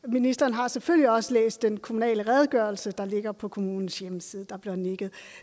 og ministeren har selvfølgelig også læst den kommunale redegørelse der ligger på kommunens hjemmeside der bliver nikket